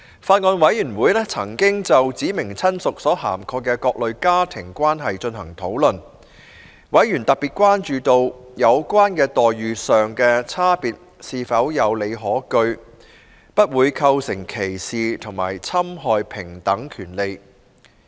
法案委員會曾就"指明親屬"所涵蓋的各類家庭關係進行討論，委員特別關注到，有關待遇上的差別是否有理可據，不會構成歧視及侵害平等權利。